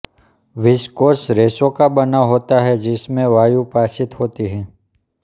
viscous रेशों का बना होता है जिसमें वायु पाशित होती है